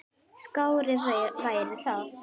Skárra væri það.